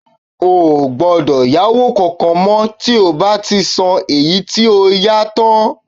Ó gbọ́dọ̀ yáwó kankan mọ́ tí o bá ti san èyí tí o yá tán